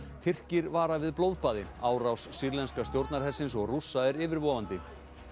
Tyrkir vara við blóðbaði árás sýrlenska stjórnarhersins og Rússa er yfirvofandi